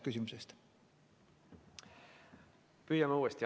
Püüame uuesti.